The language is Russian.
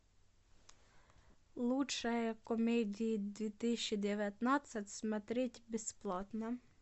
лучшая комедия две тысячи девятнадцать смотреть бесплатно